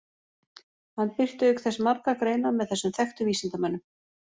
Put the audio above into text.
Hann birti auk þess margar greinar með þessum þekktu vísindamönnum.